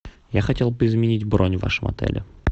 я хотел бы изменить бронь в вашем отеле